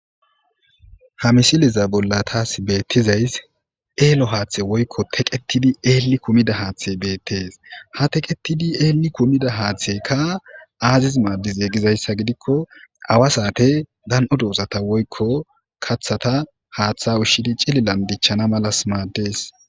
ha mishiliza bolla taas beettizays eelo haaththe woykko teqetidi eelli kumida haaththe beettees ha teqetidi eelli kumida haaththeka aaziz maaddize gizayssa gidikko awa saate dan7o doozata woykko kaththata haaththa ushshidi cililan dichchana malas maaddes